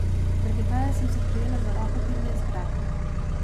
Drgetaje sem se prijela za roko, kjer me je zgrabil.